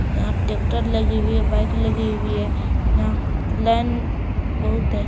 यहाँ ट्रैक्टर लगी हुई है बाइक लगी हुई है यहाँ लाइन बहुत है।